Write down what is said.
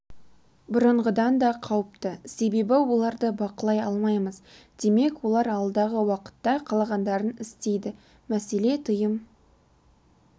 бұрынғыдан да қауіпті себебі оларды бақылай алмаймыз демек олар алдағы уақытта қалағандарын істейді мәселе тыйым